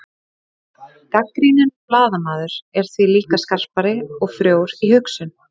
gagnrýninn blaðamaður er því líka skapandi og frjór í hugsun